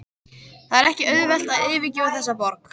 Það er ekki auðvelt að yfirgefa þessa borg.